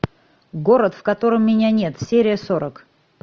город в котором меня нет серия сорок